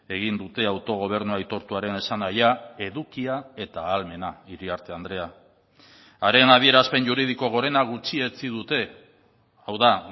egin dute autogobernu aitortuaren esanahia edukia eta ahalmena iriarte andrea haren adierazpen juridiko gorena gutxietsi dute hau da